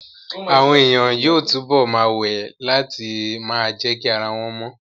Àwọn èèyàn yóò túbọ̀ ma wẹ̀ láti ma jẹ́kí ara wọ́n mọ